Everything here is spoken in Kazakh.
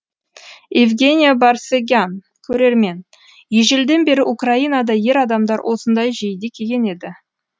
евгения барсегян көрермен ежелден бері украинада ер адамдар осындай жейде киген еді